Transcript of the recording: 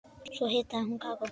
Svo hitaði hún kakó.